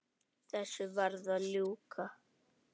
Þessu varð að ljúka.